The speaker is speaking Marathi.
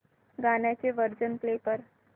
गाण्याचे व्हर्जन प्ले कर